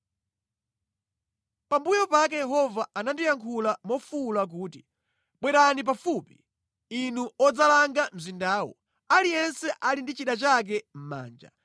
Pambuyo pake Yehova anandiyankhula mofuwula kuti, “Bwerani pafupi, inu odzalanga mzindawu, aliyense ali ndi chida chake mʼmanja.”